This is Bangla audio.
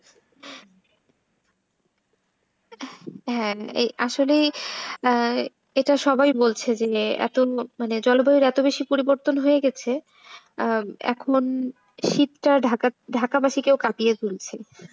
হ্যাঁ এই আসলে এটা সবাই বলছে যে এত মানে জলবায়ুর এত বেশি পরিবর্তন হয়ে গেছে আহ এখন শীতটা ঢাকা ঢাকা বাসটিকেও কাঁপিয়ে তুলছে।